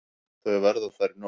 Þau verða þar í nótt.